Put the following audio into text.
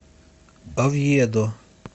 овьедо